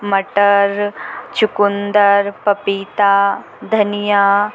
मटर चुकुंदर पपीता धनिया --